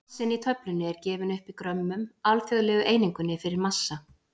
Massinn í töflunni er gefinn upp í grömmum, alþjóðlegu einingunni fyrir massa.